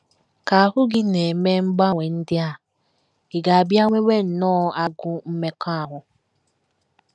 Ka ahụ́ gị na - eme mgbanwe ndị a, ị ga - abịa nwewe nnọọ agụụ mmekọahụ.